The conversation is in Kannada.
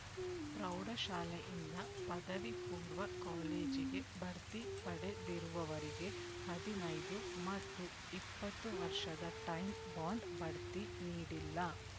ಪ್ರೌಢಶಾಲೆಯಿಂದ ಪದವಿ ಪೂರ್ವ ಕಾಲೇಜಿಗೆ ಬಡ್ತಿ ಪಡೆದಿರುವವರಿಗೆ ಹದಿನೈದು ಮತ್ತು ಇಪ್ಪತ್ತು ವರ್ಷದ ಟೈಂ ಬಾಂಡ್ ಬಡ್ತಿ ನೀಡಿಲ್ಲ